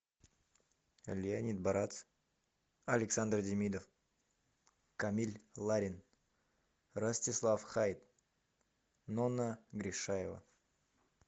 леонид барац александр демидов камиль ларин ростислав хаит нонна гришаева